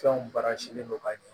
Fɛnw baara silen don ka ɲɛ